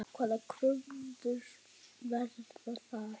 Hvaða kröfur verða þar?